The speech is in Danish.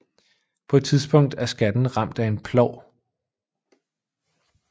På et tidspunkt er skatten ramt af en plov